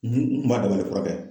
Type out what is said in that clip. N kun b'a dabali furakɛ